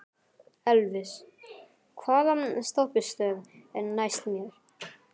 Elvis, hvaða stoppistöð er næst mér?